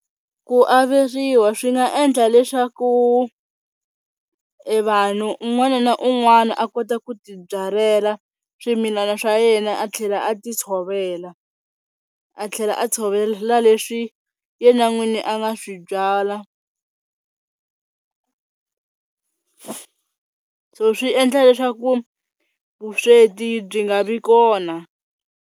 Ku averiwa swi nga endla leswaku e vanhu un'wana na un'wana a kota ku tibyalela swimilana swa yena a tlhela a ti tshovela, a tlhela a tshovela leswi yena n'wini a nga swi byala. So swi endla leswaku vusweti byi nga vi kona.